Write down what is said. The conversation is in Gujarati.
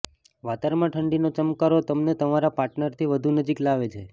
વાતવારણમાં ઠંડીનો ચમકારો તમને તમારા પાર્ટનરની વધુ નજીક લાવે છે